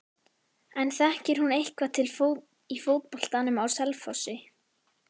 En þekkir hún eitthvað til í fótboltanum á Selfossi?